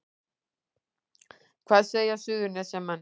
Hvað segja Suðurnesjamenn